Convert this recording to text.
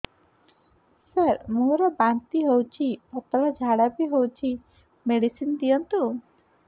ସାର ମୋର ବାନ୍ତି ହଉଚି ପତଲା ଝାଡା ବି ହଉଚି ମେଡିସିନ ଦିଅନ୍ତୁ